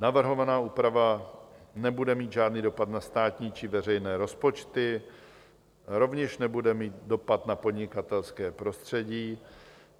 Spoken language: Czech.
Navrhovaná úprava nebude mít žádný dopad na státní či veřejné rozpočty, rovněž nebude mít dopad na podnikatelské prostředí.